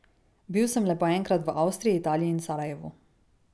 Bil sem le po enkrat v Avstriji, Italiji in Sarajevu.